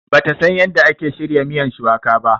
Bata San yanda ake shirya miyan shuwaka ba.